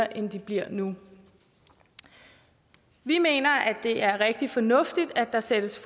end de bliver nu vi mener at det er rigtig fornuftigt at der sættes